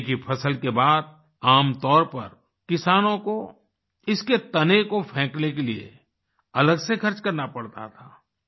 केले की फसल के बाद आम तौर पर किसानों को इसके तने को फेंकने के लिए अलग से खर्च करना पड़ता था